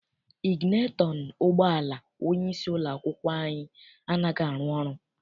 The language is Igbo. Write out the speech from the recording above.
Iginetọn ụgbọala onyeisi ụlọ akwụkwọ anyị anaghị arụ ọrụ.